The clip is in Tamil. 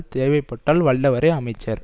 தேவைப்பட்டால் வல்லவரே அமைச்சர்